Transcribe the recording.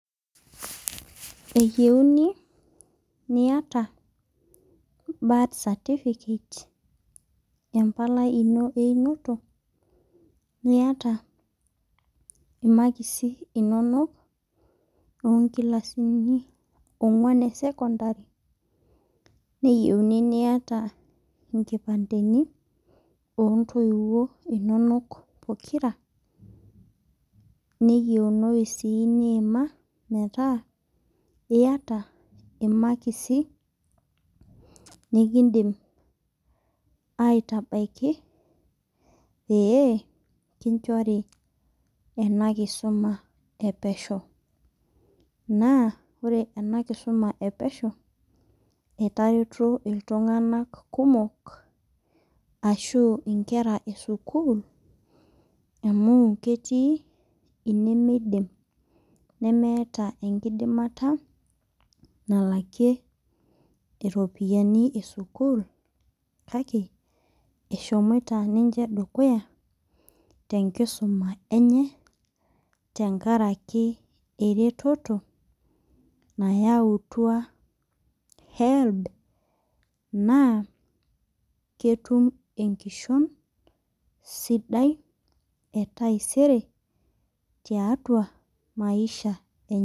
Eyieuni niata birth certificate embalai ino einoto niata imakisi inonok onkilasini onguan esekondari neyiunu nita nkipandeni ontoiwuo inonok pokira neyieunu niima metaaa iata imakisi nikindim aitabaki pee kinchori enakisuma epesho na ore enakisuma epesho etareto ltunganak kumok ashu nkera esukul amu ketii nemeeta enkidimata nalakie ropiyani esukul kakw eshomoita dukuya tenkisuma enye tenkaraki eretoto nayautua helb na ketumbenkishon sidai etaisere tiatua maisha enye.